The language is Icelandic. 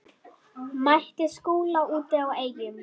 Mætti Skúla úti á Eyjum.